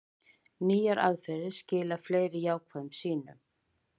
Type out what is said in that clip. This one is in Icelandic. Nýjar aðferðir skila fleiri jákvæðum sýnum